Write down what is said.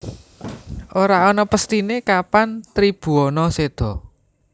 Ora ana pesthine kapan Tribhuwana seda